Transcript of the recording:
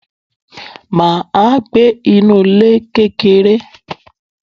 Mà á gbé inú ilé kékeré.